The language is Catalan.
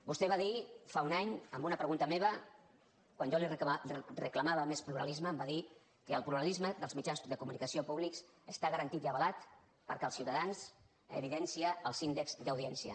vostè va dir fa un any a una pregunta meva quan jo li reclamava més pluralisme em va dir que el pluralisme dels mitjans de comunicació públics està garantit i avalat perquè els ciutadans evidencien els índex d’audiència